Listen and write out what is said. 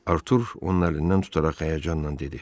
Artur onu əlindən tutaraq həyəcanla dedi.